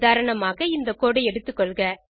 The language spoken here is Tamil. உதாரணமாக இந்த கோடு ஐ எடுத்துக்கொள்க